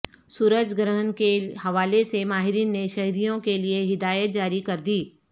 سورج گر ہن کے حوالے سے ماہرین نے شہریوں کے لیے ہدایات جاری کر دی